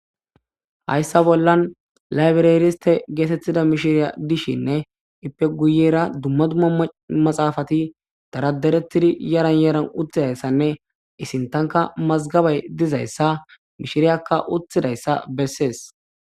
Hayssa bollan laybireriste getetiza mishiriya dishinne ippe guyera dumma dumma maxaafati dara daretidi yaran yaran uttidayssanne i sinththankka mazggabay dizayssa mishiriyakka uttidayssa beesees.